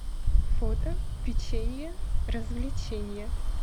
фото печенье развлеченье